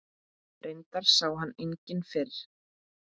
Reyndar sá hann enginn fyrir.